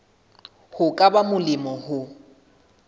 ho ka ba molemo ho